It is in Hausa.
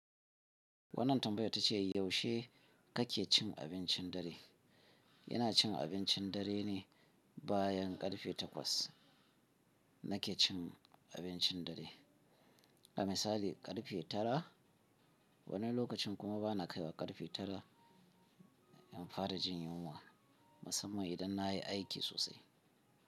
Wannan tambaya tace yaushe kake cin abincin dare? Ina cin abincin dare ne bayan karfe takwas. Nake cin abincin dare, a misali karfe tara, wani lokacin kuma bana kaiwa karfe tara in fara jin yunwa, musamman idan na yi aiki sosai.